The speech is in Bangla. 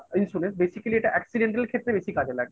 insurance basically এটা accidental ক্ষেত্রে বেশি কাজে লাগে।